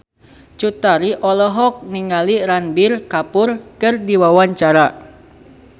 Cut Tari olohok ningali Ranbir Kapoor keur diwawancara